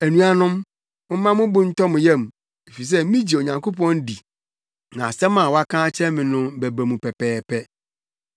Anuanom, momma mo bo ntɔ mo yam, efisɛ migye Onyankopɔn di na asɛm a waka akyerɛ me no bɛba mu pɛpɛɛpɛ.